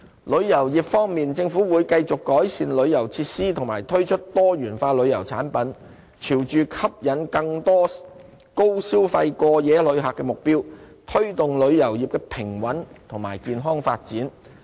旅遊業方面，政府會繼續改善旅遊設施和推出多元化旅遊產品，朝着吸引更多高消費過夜旅客的目標，推動旅遊業的平穩及健康發展。